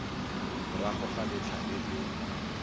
morago ga letlha le le